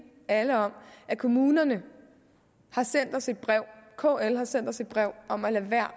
alle om at kommunerne har sendt os et brev kl har sendt os et brev om at lade være